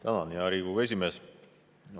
Tänan, hea Riigikogu esimees!